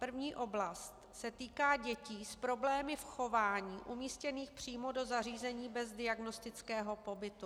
První oblast se týká dětí s problémy v chování umístěných přímo do zařízení bez diagnostického pobytu.